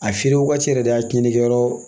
A feere waati yɛrɛ de a tiɲɛni kɛ yɔrɔ